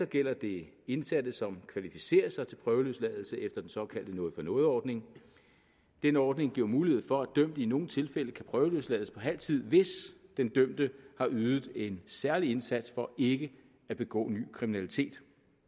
gælder det indsatte som kvalificerer sig til prøveløsladelse efter den såkaldte noget for noget ordning den ordning giver mulighed for dømte i nogle tilfælde kan prøveløslades på halv tid hvis den dømte har ydet en særlig indsats for ikke at begå ny kriminalitet